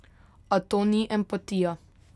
A to ni empatija.